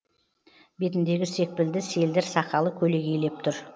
бетіндегі секпілді селдір сақалы көлегейлеп тұр